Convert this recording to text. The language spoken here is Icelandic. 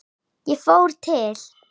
Ég fór til